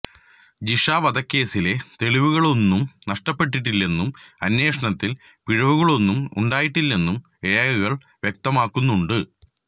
ജിഷ വധക്കേസിലെ തെളിവുകളൊന്നും നഷ്ടപ്പെട്ടിട്ടില്ലെന്നും അന്വേഷണത്തില് പിഴവുകളൊന്നും ഉണ്ടായിട്ടില്ലെന്നും രേഖകള് വ്യക്തമാക്കുന്നുണ്ട്